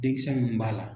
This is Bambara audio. Denkisɛ min b'a la